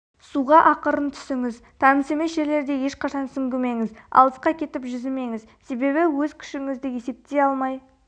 суға ақырын түсіңіз таныс емес жерлерде ешқашан сүңгімеңіз алысқа кетіп жүзімеңіз себебі өз күшіңізді есептей алмай